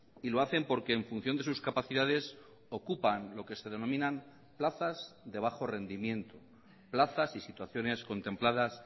y lo hacen porque en función de sus capacidades ocupan lo que se denominan plazas de bajo rendimiento plazas y situaciones contempladas